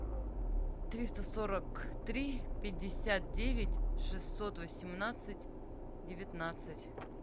триста сорок три пятьдесят девять шестьсот восемнадцать девятнадцать